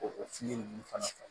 O o fili ninnu fana